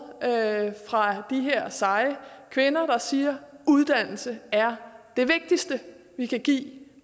fra de her seje kvinder der siger uddannelse er det vigtigste vi kan give